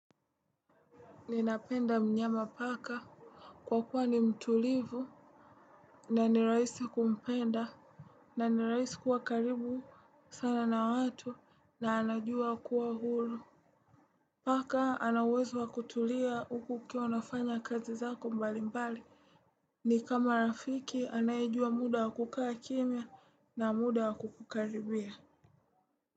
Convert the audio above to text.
Ninapenda mnyama paka. Kwa kuwa ni mtulivu na nirahisi kumpenda na nirahisi kuwa karibu sana na watu na anajua kuwa huru. Paka anauwezo wa kutulia huku ukiwa unafanya kazi zako mbali mbali. Ni kama rafiki anayejua muda wa kukaa kimya na muda wa kukukaribia Muzika.